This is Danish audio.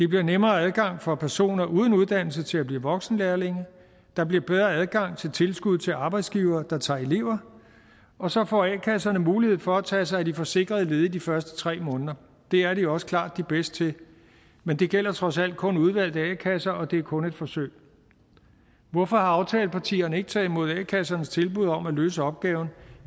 bliver nemmere adgang for personer uden uddannelse til at blive voksenlærlinge der bliver bedre adgang til tilskud til arbejdsgivere der tager elever og så får a kasserne mulighed for at tage sig af de forsikrede ledige de første tre måneder det er de også klart de bedste til men det gælder trods alt kun udvalgte a kasser og det er kun et forsøg hvorfor har aftalepartierne ikke taget imod a kassernes tilbud om at løse opgaven